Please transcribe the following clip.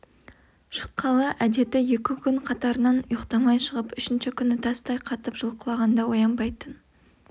шыққалы әдеті екі күн қатарынан ұйықтамай шығып үшінші күні тастай қатып жұлқылағанда оянбайтын